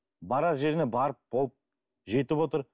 барар жеріне барып болып жетіп отыр